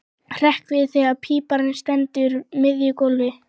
Hrekk við þegar píparinn stendur á miðju gólfi.